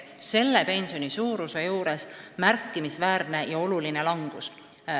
See oleks märkimisväärne ja suur langus.